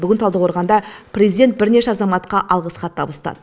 бүгін талдықорғанда президент бірнеше азаматқа алғыс хат табыстады